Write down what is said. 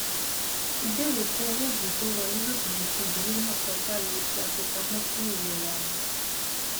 ìbèrè fún owó oògùn to wọn lójijì ti ìdílé náà kọjá iye tí a fipamọ fún ìlera wọn